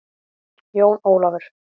Jón Ólafur!